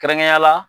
Kɛrɛnkɛrɛnnenya la